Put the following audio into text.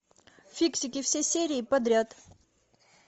фиксики все серии подряд